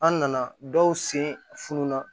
An nana dɔw sen fununna